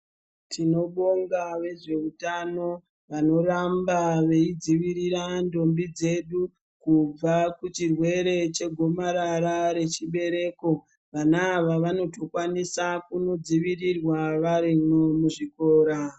Tinobonga vezveutano ,vanoramba veidzivirira ndombi dzedu kubva kuchirwere chegomarara rechibereko. Vana ava vanotokwanisa kunodzivirirwa varimwo muchikora.